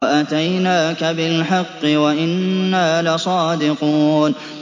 وَأَتَيْنَاكَ بِالْحَقِّ وَإِنَّا لَصَادِقُونَ